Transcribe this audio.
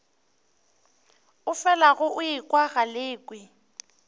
o felago o ekwa galekwe